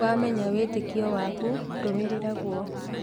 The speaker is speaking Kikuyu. Wamenya wĩtĩkio waku rũmĩrĩra guo